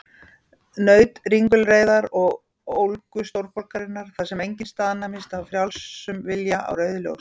Naut ringulreiðar og ólgu stórborgarinnar, þar sem enginn staðnæmist af frjálsum vilja á rauðu ljósi.